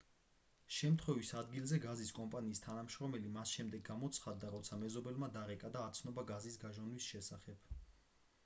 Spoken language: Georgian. შემთხვევის ადგილზე გაზის კომპანიის თანამშრომელი მას შემდეგ გამოცხადდა როცა მეზობელმა დარეკა და აცნობა გაზის გაჟონვის შესახებ